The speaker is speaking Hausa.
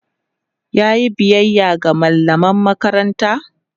yayi biyaya ga mallaman makaranta?